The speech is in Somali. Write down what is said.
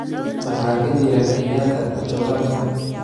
maxaa ka jira kenyatta todobaadkan